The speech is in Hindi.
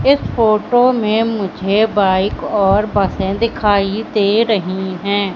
इस फोटो में मुझे बाइक और बसें दिखाई दे रही हैं।